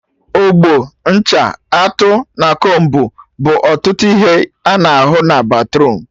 Ogbo, ncha, atụ, na combu bụ ọtụtụ ihe a na ahụ na batruum